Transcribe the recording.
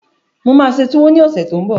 Mo máa ṣe túwó ní ọ̀sẹ̀ tó n bọ̀